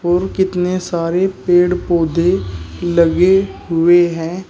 और कितने सारे पेड़ पौधे लगे हुए हैं।